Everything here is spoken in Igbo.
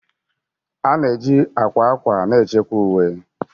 A na-eji akwa akwa na-echekwa uwe